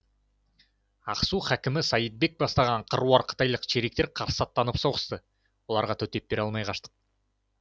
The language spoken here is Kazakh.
ақсу хәкімі саид бек бастаған қыруар қытайлық чериктер қарсы аттанып соғысты оларға төтеп бере алмай қаштық